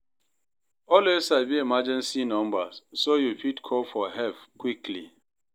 Always sabi emergency numbers, so yu fit call for help quickly.